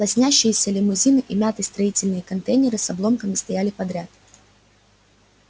лоснящиеся лимузины и мятые строительные контейнеры с обломками стояли подряд